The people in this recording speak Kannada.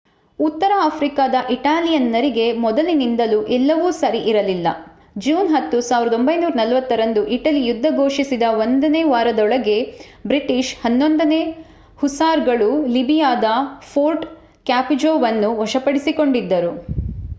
ಉತ್ತರ ಆಫ್ರಿಕಾದ ಇಟಾಲಿಯನ್ನರಿಗೆ ಮೊದಲಿನಿಂದಲೂ ಎಲ್ಲವೂ ಸರಿ ಇರಲಿಲ್ಲ. ಜೂನ್ 10 1940 ರಂದು ಇಟಲಿ ಯುದ್ಧ ಘೋಷಿಸಿದ ಒಂದು ವಾರದೊಳಗೆ ಬ್ರಿಟಿಷ್ 11ನೇ ಹುಸಾರ್‌ಗಳು ಲಿಬಿಯಾದ ಫೋರ್ಟ್ ಕ್ಯಾಪುಜೋವನ್ನು ವಶಪಡಿಸಿಕೊಂಡಿದ್ದರು